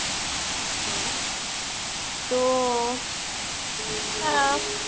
ହଁ ତ ଆଁ